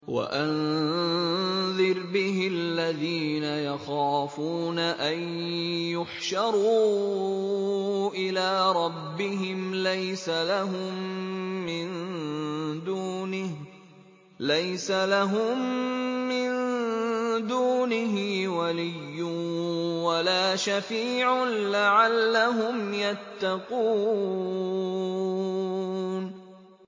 وَأَنذِرْ بِهِ الَّذِينَ يَخَافُونَ أَن يُحْشَرُوا إِلَىٰ رَبِّهِمْ ۙ لَيْسَ لَهُم مِّن دُونِهِ وَلِيٌّ وَلَا شَفِيعٌ لَّعَلَّهُمْ يَتَّقُونَ